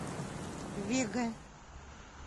вега